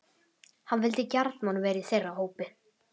Hann vildi gjarnan vera í þeirra hópi.